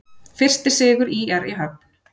Fyrsti sigur ÍR í höfn